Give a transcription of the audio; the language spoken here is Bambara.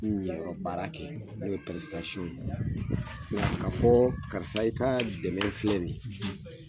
Ɲ niyɔrrɔ baara kɛ n'o ye ye nka ka fɔ karisa, i ka dɛmɛ filɛ nin ye